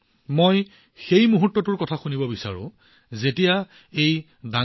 মই সেই মুহূৰ্তটোৰ কথা শুনিব বিচাৰো যেতিয়া এই কামটো কৰা হৈছিল